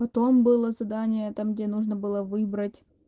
потом было задание там где нужно было выбрать